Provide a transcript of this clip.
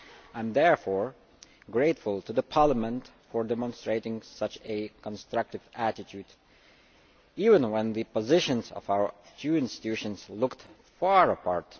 I am therefore grateful to Parliament for demonstrating such a constructive attitude, even when the positions of our two institutions looked far apart.